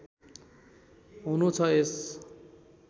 हुनु छ यस